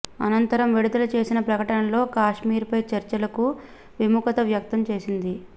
అనంతరం విడుదల చేసిన ప్రకటనలో కాశ్మీర్పై చర్చలకు విముఖత వ్యక్తం చేసింది